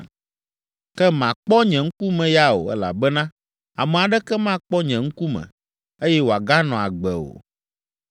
Ke màkpɔ nye ŋkume ya o, elabena ame aɖeke makpɔ nye ŋkume, eye wòaganɔ agbe o.